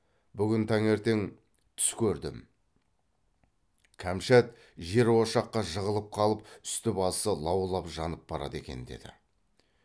бүгін таңертең түс көрдім кәмшат жер ошаққа жығылып қалып үсті басы лаулап жанып барады екен деді